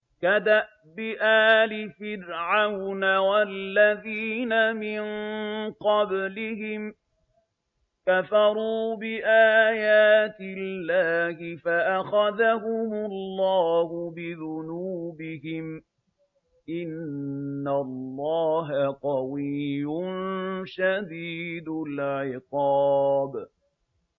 كَدَأْبِ آلِ فِرْعَوْنَ ۙ وَالَّذِينَ مِن قَبْلِهِمْ ۚ كَفَرُوا بِآيَاتِ اللَّهِ فَأَخَذَهُمُ اللَّهُ بِذُنُوبِهِمْ ۗ إِنَّ اللَّهَ قَوِيٌّ شَدِيدُ الْعِقَابِ